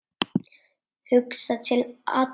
Hugsa til allra.